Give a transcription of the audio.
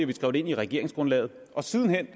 vi skrev det ind i regeringsgrundlaget og siden